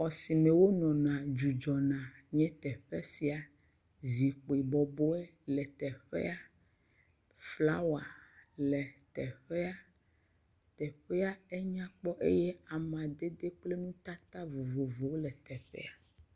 Xɔ si me wo nɔna dzudzɔna nye teƒe sia. Zikpi bɔbɔe le teƒea. Flawa le teƒea. Teƒea enyakpɔ eye amadede kple nutata vovovowo le teƒea.